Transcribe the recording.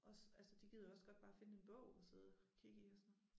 Også altså de gider jo også godt bare finde en bog og sidde og kigge i og sådan noget